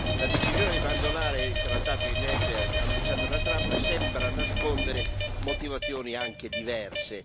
La decisione di abbandonare il trattato INF annunciata da Trump sembra nascondere motivazioni anche diverse.